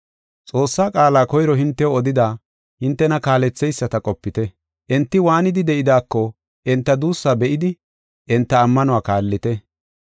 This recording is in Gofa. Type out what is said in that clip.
Xoossaa qaala koyro hintew odida hintena kaaletheyisata qopite. Enti waanidi de7idaako enta duussaa be7idi enta ammanuwa kaallite.